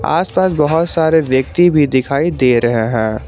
आसपास बहुत सारे व्यक्ति भी दिखाई दे रहे हैं।